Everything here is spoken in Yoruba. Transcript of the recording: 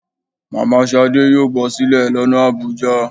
Mama shádé yọọ bosílè lona Abuja.